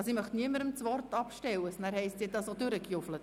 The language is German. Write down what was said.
Dies Für den Fall, dass es später heisst, ich hätte pressiert.